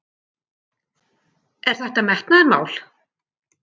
Er þetta metnaðarmál?